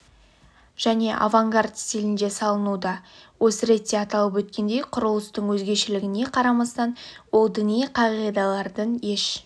және авангард стилінде салынуда осы ретте аталып өткендей құрылыстың өзгешелігіне қарамастан ол діни қағидалардың еш